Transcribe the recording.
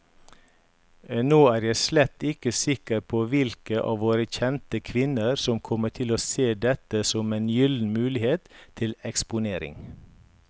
Nå er jeg slett ikke sikker på hvilke av våre kjente kvinner som kommer til å se dette som en gyllen mulighet til eksponering.